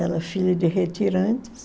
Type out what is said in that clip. Ela é filha de retirantes.